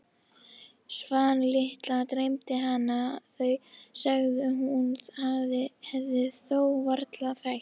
Svan litla dreymdi hana, þau sem hún hefði þó varla þekkt.